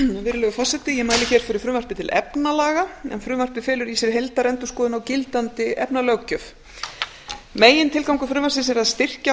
virðulegur forseti ég mæli fyrir frumvarpi til efnalaga en það felur í sér heildarendurskoðun á gildandi efnalöggjöf megintilgangur frumvarpsins er að styrkja